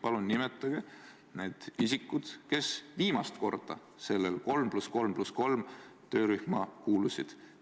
Palun nimetage need isikud, kes viimasel korral sellesse 3 + 3 + 3 töörühma kuulusid!